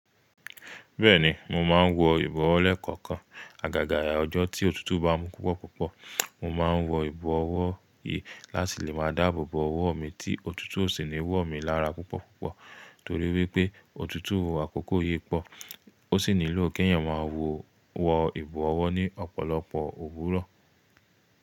Bẹ́ẹ̀ni mo máa ń wọ ìbọ̀wọ́ lẹ́ẹ̀kọ̀kan. Àgàgà ọjọ́ tí òtútù bá mú púpọ̀púpọ̀, mo máa ń wọ ìbọ̀wọ́ yìí láti lè máa dáàbò bo owó mi tí òtútù ó sì ní wò mí lára púpọ̀púpọ̀. Torí wípé òtútù àkọ́kọ́ yí pọ̀ ó sì nílò kí èèyàn máa wọ ìbọ̀wọ́ ní ọ̀pọ̀lọpọ̀ òwúrọ̀